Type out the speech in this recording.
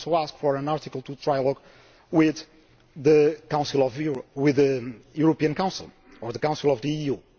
We also ask for an Article 2 trialogue with the European Council or the Council of the